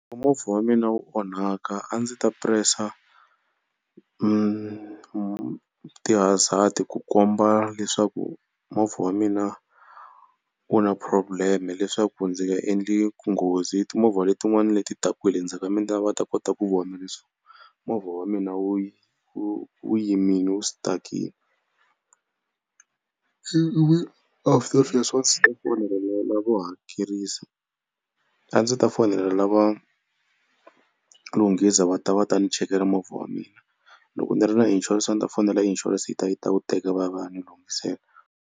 Movha wa mina wu onhaka a ndzi ta press-a ti-hazzard ku komba leswaku movha wa mina wu na problem-e leswaku ndzi nga endli nghozi timovha letin'wana leti taka hi le ndzhaku ka mina va ta kota ku vona leswaku movha wa mina wu wu wu yimini wu stuck-ini. after sweswo a ndzi ta lavo hakerisa a ndzi ta fonela lava lunghisa va ta va ta ni chekela movha wa mina. Loko ni ri na insurance a ni ta fonela insurance yi ta yi ta wu teka va ya va ya ni lunghisela.